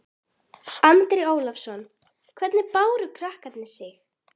Andri Ólafsson: Hvernig báru krakkarnir sig?